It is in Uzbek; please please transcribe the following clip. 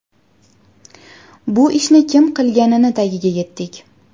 Bu ishni kim qilganini tagiga yetdik.